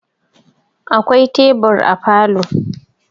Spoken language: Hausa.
Akwai tebur a falo